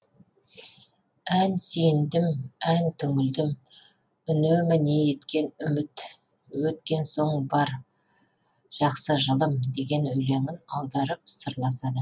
ән сүйіндім ән түңілдім үнемі не еткен үміт өткен соң бар жақсы жылым деген өлеңін аударып сырласады